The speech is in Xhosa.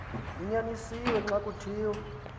kunyanisiwe xa kuthiwa